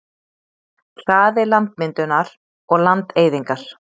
hraði landmyndunar og landeyðingar